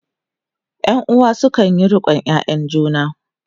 ƴan uwa sukanyi riƙon ƴaƴan juna